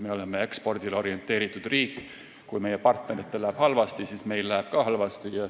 Me oleme ekspordile orienteeritud riik ja kui meie partneritel läheb halvasti, siis läheb ka meil halvasti.